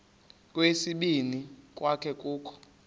kweyesibini kwaye kukho